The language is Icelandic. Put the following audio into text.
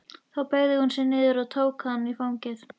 Þá beygði hún sig niður og tók hann í fangið.